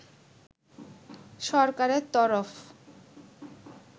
সরকারের তরফ